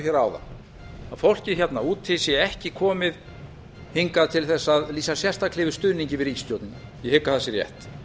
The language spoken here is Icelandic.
að fólkið hérna úti sé ekki komið hingað til þess að lýsa sérstaklega yfir stuðningi við ríkisstjórnina ég hygg að það sé rétt